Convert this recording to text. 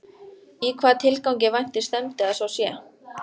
Í hvaða tilgangi vænti stefndi að svo sé?